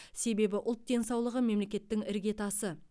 себебі ұлт денсаулығы мемлекеттің іргетасы